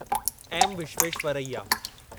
M Visvesvaraya